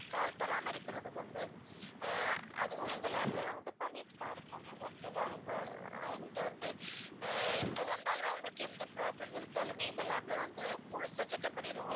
கால் பராமரிக்கிறதுக்கு வந்து ஆஹ் அதுவும் எங்க lab ல நாங்க வந்து பண்ணிட்டு தான் இருக்கோம் ma'am okay வா நீங்க~ நீங்க வந்து அஹ் எப்ப வந்தாலுமே உங்களுக்கு எந்த problem இருந்தாலுமே எங்க lab ல வந்து முழுசா check up பண்ணிடுவோம்